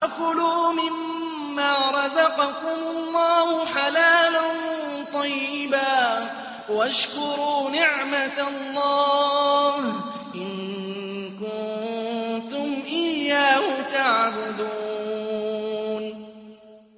فَكُلُوا مِمَّا رَزَقَكُمُ اللَّهُ حَلَالًا طَيِّبًا وَاشْكُرُوا نِعْمَتَ اللَّهِ إِن كُنتُمْ إِيَّاهُ تَعْبُدُونَ